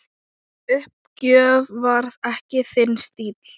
Uppgjöf var ekki þinn stíll.